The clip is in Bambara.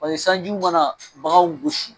Pase sanjiw mana baganw gosi